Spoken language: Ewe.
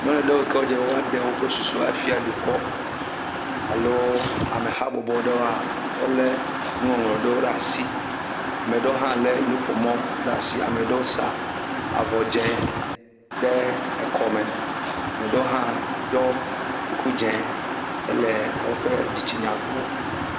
Ame aɖewo yi ke wodze be woɖe woƒe susu afia dukɔ alo amehabɔbɔ ɖewo, wolé nuŋɔŋlɔ ɖewo ɖe asi. Ame ɖewo hã lé nuƒomɔ ɖe asi, ame ɖewo sa avɔ dzẽe ɖe ekɔme. Ame ɖewo hã ɖɔ kuku dzẽ hele woƒe dzitsinya gblɔm.